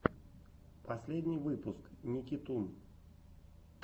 последний выпуск никитун